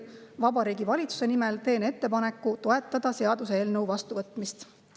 Vabariigi Valitsuse nimel teen ettepaneku toetada seaduseelnõu vastuvõtmist.